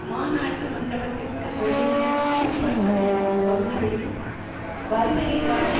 மாநாட்டு மண்டபத்திற்கு வெளியிலும் சூப்பர் டம் பகுதிகளிலும் வறுமையில் வாடி